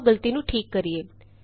ਆਉ ਗਲਤੀ ਨੂੰ ਠੀਕ ਕਰੀਏ